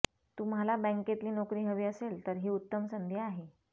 तुम्हाला बँकेतली नोकरी हवी असेल तर ही उत्तम संधी आहे